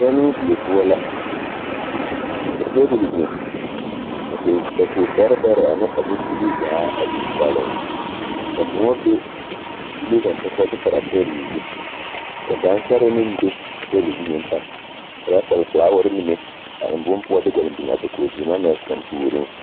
Pɛnnoo die poɔ la ka teebol biŋ ka dakogi bɛrɛ bɛrɛ ane a bombilii zaa a biŋ gɔlleŋ ka moɔ be dogelee kaŋ poɔ ka ba de paraa tabol zu kyɛ ka gansɔree meŋ be a tabol zu meŋ pare, ka ba sɛle filaaware mine a eŋ bone poɔ de gɔlleŋ biŋ a dakoge zenaa na kaŋ puoriŋ.